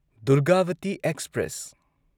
Durgavati express